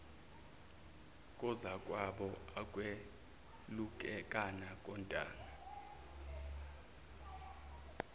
kozakwabo ukwelulekana kontanga